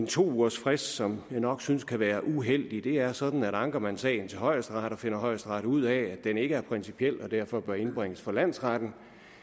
to ugers frist som jeg nok synes kan være uheldig det er sådan at anker man sagen til højesteret og finder højesteret ud af at den ikke er principiel og derfor bør indbringes for landsretten